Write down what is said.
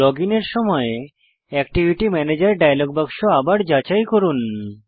login এর সময় activity ম্যানেজের ডায়লগ বাক্স আবার যাচাই করুন